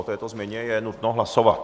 O této změně je nutno hlasovat.